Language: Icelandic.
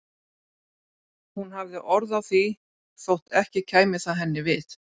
Hún hafði orð á því þótt ekki kæmi það henni við.